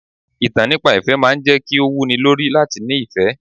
Ìtàn nípa ìfẹ́ máa ń jẹ́ kí ó wú ni lórí láti ní ìfẹ́.